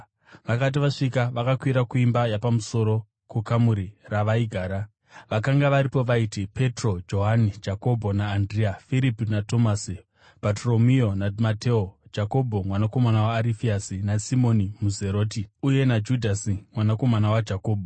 Vakati vasvika, vakakwira kuimba yapamusoro kukamuri ravaigara. Vakanga varipo vaiti: Petro, Johani, Jakobho naAndirea; Firipi naTomasi; Bhatoromeo naMateo; Jakobho mwanakomana waArifeasi naSimoni muZeroti, uye naJudhasi mwanakomana waJakobho.